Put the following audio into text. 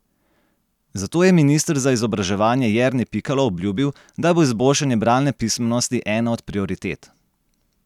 Zato je minister za izobraževanje Jernej Pikalo obljubil, da bo izboljšanje bralne pismenosti ena od prioritet.